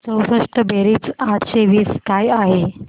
चौसष्ट बेरीज आठशे वीस काय आहे